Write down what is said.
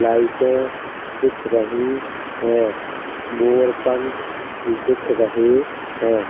लाइटें दिख रही हैं। मोर पंख दिख रहे हैं।